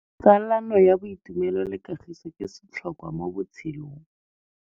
Tsalano ya boitumelo le kagiso ke setlhôkwa mo botshelong.